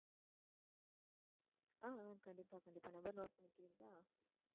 ஆஹ் கண்டிப்பா கண்டிப்பா number note பண்ணிக்குறீங்களா?